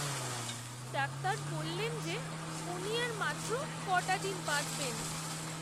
Doctor বললেন যে উনি আর মাত্র ক'টা দিন বাঁচবেন।